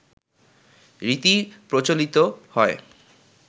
রীতি প্রচলিত হয়